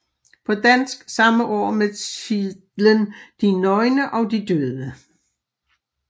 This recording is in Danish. På dansk samme år med titlen De nøgne og de døde